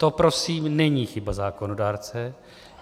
To prosím není chyba zákonodárce.